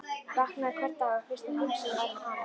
Vaknaði hvern dag og fyrsta hugsunin væri um hann.